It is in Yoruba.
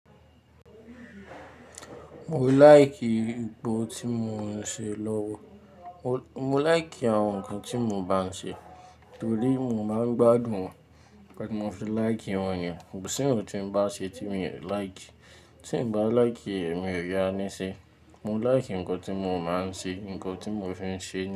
Mo láìkì ipò tí mo ń ṣe lọ́wọ́. Mo láìkì àwọn ǹkan tí mo bá ń ṣe torí mo máa ń gbádùn wọn, nnkan ti mo fi láìkì wọ́n yen. Kò sí ohun tí n bá ṣe tí mi ò láìkì. Tí n bá láìkì ẹ̀, mi ò yá ní ṣe. Mo láìkì ǹkan tí mo máa ń ṣe, ǹkan tí mo fi ń ṣe.